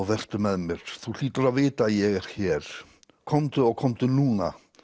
vertu með mér þú hlýtur að vita að ég er hér komdu og komdu núna